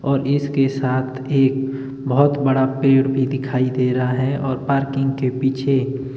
और इसके साथ एक बहुत बड़ा पेड़ भी दिखाई दे रहा है और पार्किंग के पीछे--